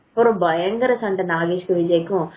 அப்புறம் பயங்கர சண்டை நாகேஷ்க்கும் விஜய்க்கும்